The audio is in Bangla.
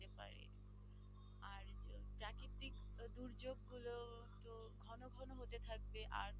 আর থাকবে